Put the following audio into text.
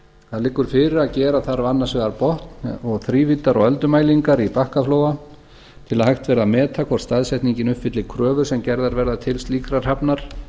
það liggur fyrir að gera þarf annars vegar botn og þrívíddar og öldumælingar í bakkaflóa til að hægt verði að meta hvort staðsetningin uppfylli kröfur sem gerðar verða til slíkrar hafnar